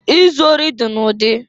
Izu ori dị n'ụdị.